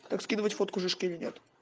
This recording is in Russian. как скидывать фотку жишке или нет